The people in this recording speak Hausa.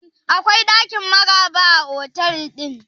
Akwai ɗakin Maraba a otal ɗin?